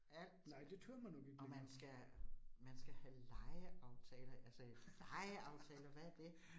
Alt. Og man skal man skal have legeaftaler, altså legeaftaler hvad det